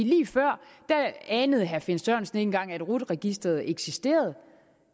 lige før anede herre finn sørensen ikke engang at rut registeret eksisterede